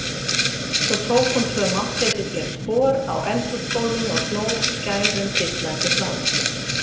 Svo tók hún tvö máttleysisleg spor á eldhúsgólfinu og hló skærum dillandi hlátri.